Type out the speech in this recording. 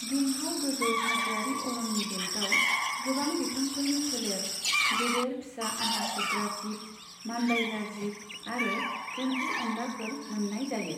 दुंहाव गोजौ हाजोआरि अरननि बेल्टआव गोबां बिफांफोरनि फोलेर, गेदेर फिसा आहार सोबग्रा जिब, मानबायग्रा जिब आरो एम्फौ एनलाफोर मोन्नाय जायो।